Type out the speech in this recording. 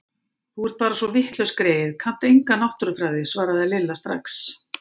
Þú ert bara svo vitlaus greyið, kannt enga náttúrufræði svaraði Lilla strax.